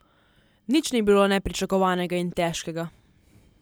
Nič ni bilo nepričakovanega in težkega.